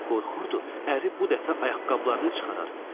Qorxurdu, əri bu dəfə ayaqqabılarını çıxarar.